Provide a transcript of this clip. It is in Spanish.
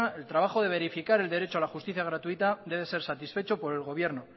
el trabajo de verificar el derecho a la justicia gratuita debe ser satisfecho por el gobierno